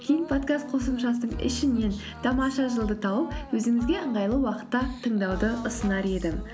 кейін подкаст қосымшасының ішінен тамаша жыл ды тауып өзіңізге ыңғайлы уақытта тыңдауды ұсынар едім